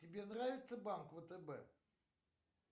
тебе нравится банк втб